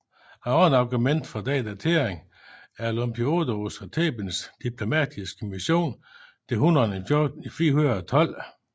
Et andet argument for denne datering er Olympiodorus af Thebens diplomatiske mission til hunnerne i 412